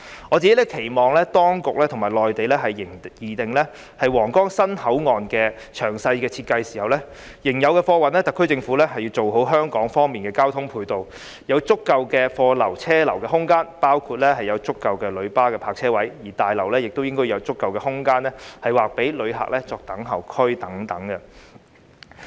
我個人期望當局與內地擬定皇崗新口岸詳細設計時，就仍有的貨運，特區政府應要完善香港方面的交通配套，要有足夠的貨流車流空間，包括有足夠的旅巴泊車位，而大樓亦應有足夠的空間劃予旅客作等候區等。